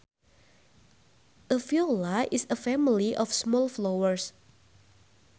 A viola is a family of small flowers